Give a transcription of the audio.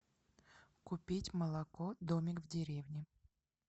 купить молоко домик в деревне